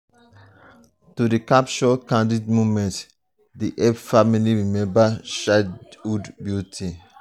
to dey capture candid moments dey help families remember childhood beauty.